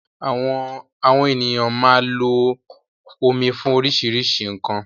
Àwọn ènìyàn máa lo omi fún oríṣiríṣi nkan